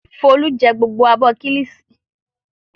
Folú jẹ gbogbo abọ́ kíllìṣi?